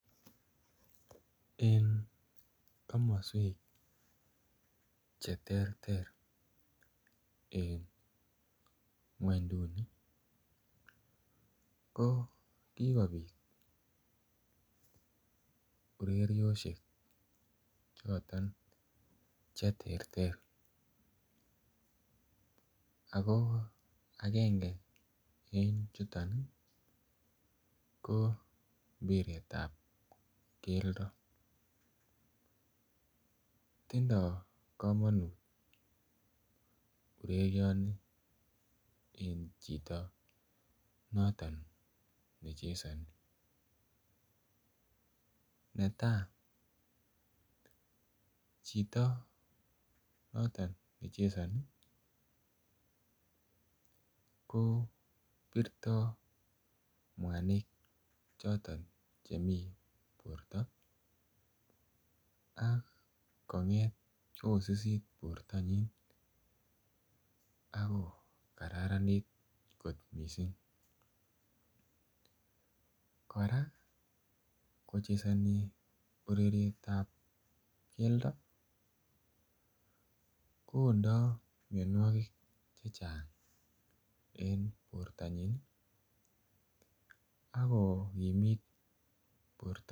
En komoswek Che terter en ngwonynduni ko ki kobit ureriosiek Che terter ago agenge en chuton ko mpiret ab keldo tindoi kamanut urerioni en chito noton ne chesoni netai chito noton nechesoni ko birto mwanik choton chemii borto ak konget koususit bortonyin ak kokararanit kot mising kora kochesoni ureriet ab keldo koondoi mianwogik Che Chang en bortanyin ak kogimit bortanyin